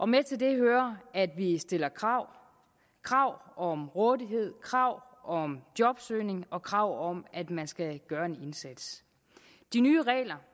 med til det hører at vi vi stiller krav krav om rådighed krav om jobsøgning og krav om at man skal gøre en indsats de nye regler